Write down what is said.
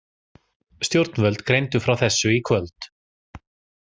Stjórnvöld greindu frá þessu í kvöld